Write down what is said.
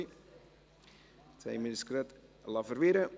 Wir haben uns gerade verwirren lassen.